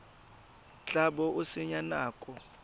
tla bo o senya nako